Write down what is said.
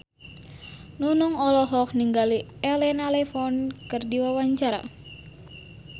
Nunung olohok ningali Elena Levon keur diwawancara